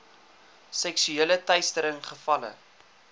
seksuele teistering gevalle